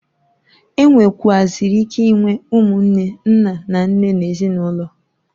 E nwekwuaziri ike inwe umunne nna na nne nezinulo.